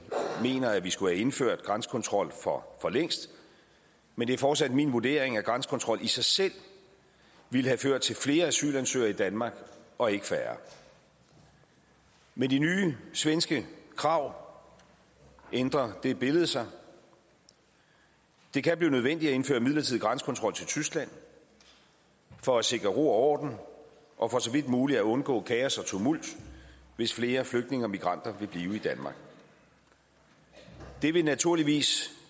mener at vi skulle have indført grænsekontrol for længst men det er fortsat min vurdering at grænsekontrol i sig selv ville have ført til flere asylansøgere i danmark og ikke færre med de nye svenske krav ændrer det billede sig det kan blive nødvendigt at indføre midlertidig grænsekontrol til tyskland for at sikre ro og orden og for så vidt muligt at undgå kaos og tumult hvis flere flygtninge og migranter vil blive i danmark det vil naturligvis